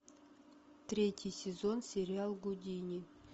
третий сезон сериал гудини